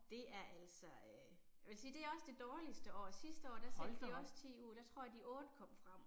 Det er altså øh. Jeg vil sige det er også det dårligste år. Sidste år der sendte vi også 10 ud, der tror jeg de 8 kom frem